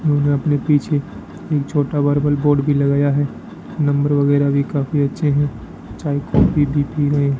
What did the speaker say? उन्होंने अपने पीछे एक छोटा वर्बल बोर्ड भी लगाया है नंबर वगैरह भी काफी अच्छे हैं चाय कॉफी भी पी रहे हैं।